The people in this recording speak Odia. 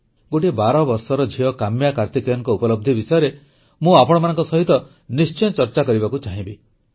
ଗୋଟିଏ ବାରବର୍ଷର ଝିଅ କାମ୍ୟା କାର୍ତିକେୟନଙ୍କ ଉପଲବ୍ଧି ବିଷୟରେ ମୁଁ ଆପଣମାନଙ୍କ ସହିତ ନିଶ୍ଚୟ ଚର୍ଚ୍ଚା କରିବାକୁ ଚାହିଁବି